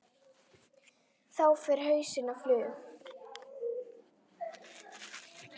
Þá fer hausinn á flug.